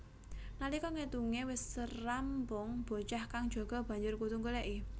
Nalika ngetunge wis rambung bocah kang jaga banjur kudu nggoleki